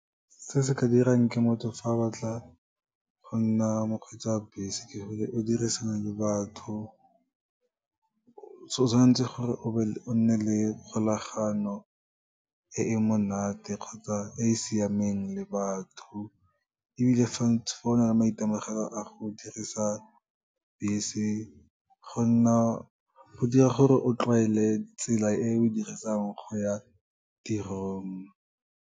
Se se ka dirang ke motho fa a batla go nna mokgweetsi wa bese ke gore, o dirisana le batho, o tshwan'tse gore o nne le kgolagano e e monate kgotsa e siameng le batho, ebile fa o na le maitemogelo a go dirisa bese, go dira gore o tlwaele tsela e o e dirisang go ya tirong.